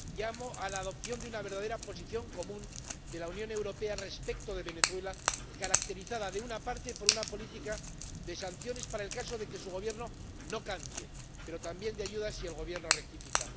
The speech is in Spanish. Llamo a la adopción de una verdadera posición común de la Unión Europea respecto de Venezuela, caracterizada, por una parte, por una política de sanciones para el caso de que su Gobierno no cambie pero, por otra, también por ayudas si el Gobierno rectifica.